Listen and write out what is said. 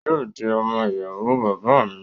Yóò di ọmọ ìyàwó bàbá à mi